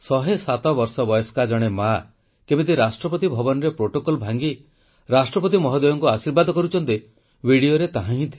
107 ବର୍ଷ ବୟସ୍କା ଜଣେ ମା କେମିତି ରାଷ୍ଟ୍ରପତି ଭବନରେ ପ୍ରୋଟୋକଲ ଭାଙ୍ଗି ରାଷ୍ଟ୍ରପତି ମହୋଦୟଙ୍କୁ ଆଶୀର୍ବାଦ କରୁଛନ୍ତି ଭିଡିଓର ତାହାହିଁ ଥିଲା